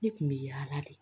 Ne kun bɛ yaala de